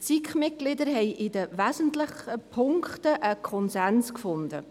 Die SiK-Mitglieder haben in den wesentlichen Punkten einen Konsens gefunden.